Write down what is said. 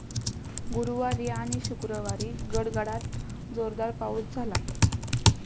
गुरुवारी आणि शुक्रवारी गडगडाट जोरदार पाऊस झाला.